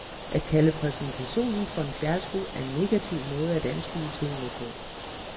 At kalde præsentationen for en fiasko er en negativ måde at anskue tingene på.